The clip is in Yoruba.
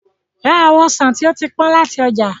Ra àwọn ọsàn tí ó ti pọ́n láti ọjà.